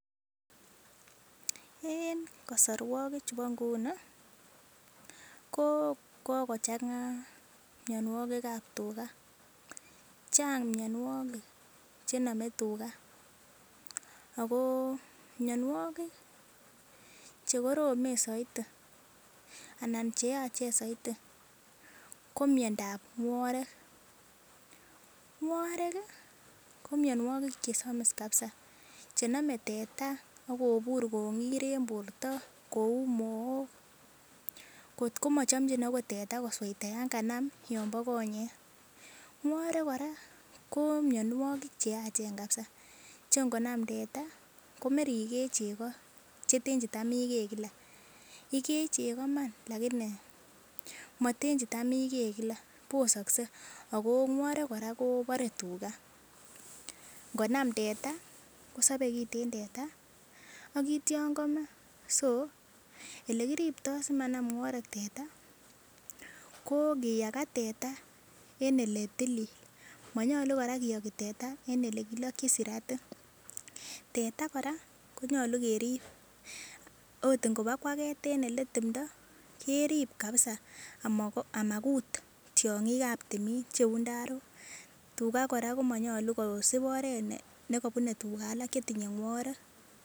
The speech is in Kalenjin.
En kosorwokik chubo nguni ko kokochang'a mionwokikab tukaa chang mionwokik chenome tukaa ak ko mionwokik chekoromen soiti anan cheyachen soiti ko miondab ng'worek, ng'worek ko mionwokik chesomis kabisaa chenome teta ak kobur kong'ir en borto kouu mook kot komochomchin okot teta kosoita yoon kanam yombo konyek, ng'worek kora ko mionwokik cheachen kabisaa cheng'onam teta komerikee cheko cheten chetam ikee kila, ikee cheko iman lakini moten chetam ikee kila, ak ko ng'worek kora kobore tukaa, ng'onam teta kosobe kiten teta ak kitio komee, so elekiribto simanam ng'worek teta ko ng'iyakaa teta en eletilil monyolu kora kiyoki teta en elekilokyin siratik, teta kora konyolu kerib oot ibang'waket en eletimndo kerib kabisaa amakut tiongikab timin cheuu ndarok, tukaa kora komonyolu kosib oreet nekobune tukaa alak chetinye ng'worek.